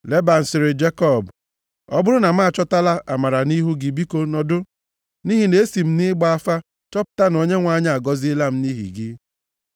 Leban sịrị Jekọb, “Ọ bụrụ na m achọtala amara nʼihu gị biko nọdụ, nʼihi na esi m nʼịgba afa chọpụta na Onyenwe anyị agọziela m nʼihi gị.”